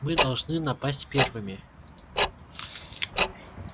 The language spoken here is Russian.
мы должны напасть первыми